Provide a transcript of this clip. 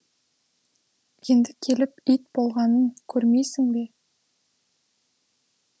енді келіп ит болғанын көрмейсің бе